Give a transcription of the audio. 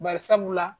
Bari sabula